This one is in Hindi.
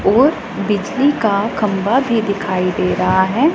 और बिजली का खंबा भी दिखाई दे रहा हैं।